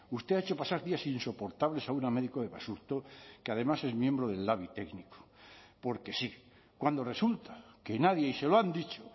usted ha hecho pasar días insoportables a una médico de basurto que además es miembro del labi técnico porque sí cuando resulta que nadie y se lo han dicho